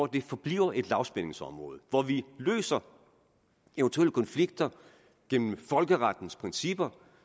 det forbliver et lavspændingsområde hvor vi løser eventuelle konflikter gennem folkerettens principper